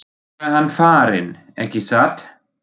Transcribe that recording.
En nú er hann farinn, ekki satt?